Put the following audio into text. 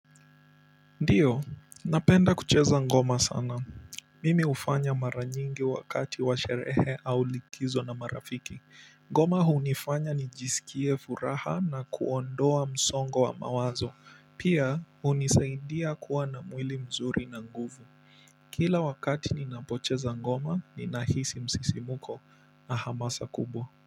Ndio napenda kucheza ngoma sana mimi hufanya mara nyingi wakati wa sherehe au likizo na marafiki. Ngoma hunifanya nijisikie furaha na kuondoa msongo wa mawazo. Pia hunisaidia kuwa na mwili mzuri na nguvu kila wakati ninapocheza ngoma, ninahisi msisimuko na hamasa kubwa.